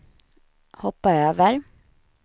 hoppa över